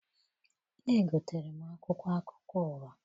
Egotere m akwụkwọ akụkọ ụwa.